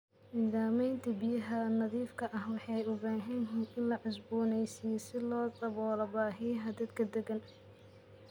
Nidaamyada biyaha nadiifka ah waxay u baahan yihiin in la cusboonaysiiyo si loo daboolo baahiyaha dadka deggan.